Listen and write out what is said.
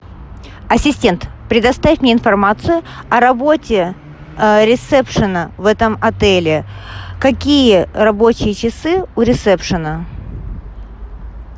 ассистент предоставь мне информацию о работе ресепшена в этом отеле какие рабочие часы у ресепшена